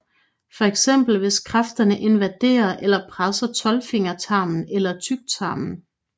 For eksempel hvis kræften invaderer eller presser tolvfingertarmen eller tyktarmen